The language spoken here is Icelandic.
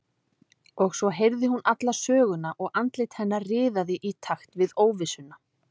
Og svo heyrði hún alla söguna og andlit hennar riðaði í takt við óvissuna.